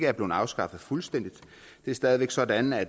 er blevet afskaffet fuldstændig det er stadig væk sådan at